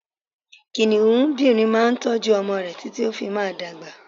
Kìnìúnbìrin máa n tójú ọmọ rẹ̀ títí tó fi máa dagba